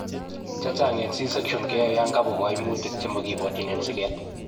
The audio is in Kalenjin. Chechang eng' c section keyoe yankabwa kaimutik chekamokibwotyin eng' sikeet